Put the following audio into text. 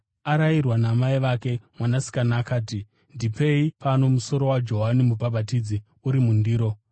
Arayirwa namai vake mwanasikana akati, “Ndipei pano musoro waJohani Mubhabhatidzi uri mundiro.”